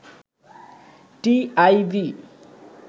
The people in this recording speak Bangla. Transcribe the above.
টিআইবি